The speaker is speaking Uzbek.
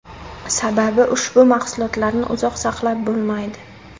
Sababi ushbu mahsulotlarni uzoq saqlab bo‘lmaydi.